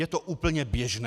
Je to úplně běžné.